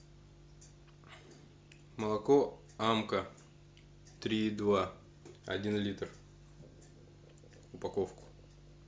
молоко амка три и два один литр упаковку